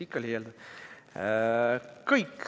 Ikka liialdad.